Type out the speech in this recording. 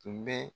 Tun bɛ